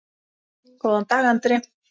Góðan dag, Andri!